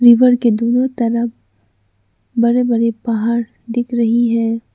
River के दोनों तरफ बड़े बड़े पहाड़ दिख रही हैं।